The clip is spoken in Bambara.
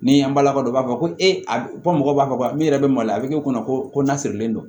Ni an balima dɔ u b'a fɔ ko e bɔ mɔgɔ b'a fɔ ko min yɛrɛ bɛ maloya a bɛ k'o kɔnɔ ko n'a sirilen don